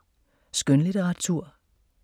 Skønlitteratur